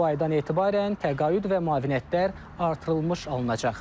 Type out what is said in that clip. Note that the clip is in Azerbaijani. Bu aydan etibarən təqaüd və müavinətlər artırılmış alınacaq.